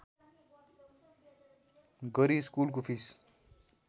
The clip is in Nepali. गरी स्कुलको फिस